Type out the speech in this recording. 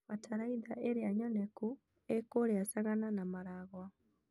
Bataraitha ĩrĩa nyoneku ĩ kũrĩa Sagana na Maragua.